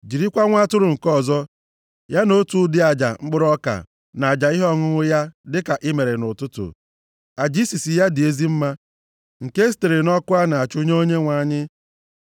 Jirikwa nwa atụrụ nke ọzọ, ya na otu ụdị aja mkpụrụ ọka na aja ihe ọṅụṅụ ya dịka i mere nʼụtụtụ. Aja isisi ya dị ezi mma, nke e sitere nʼọkụ a na-achụ nye Onyenwe anyị.